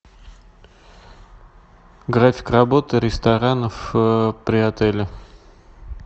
график работы ресторанов при отеле